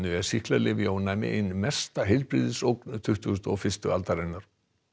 er sýklalyfjaónæmi ein mesta tuttugustu og fyrstu aldarinnar